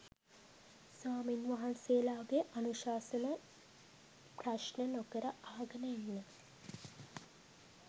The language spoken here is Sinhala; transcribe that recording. ස්වාමීන් වහන්සේලාගේ අනුශාසනා ප්‍රශ්න නොකර අහගෙන ඉන්න?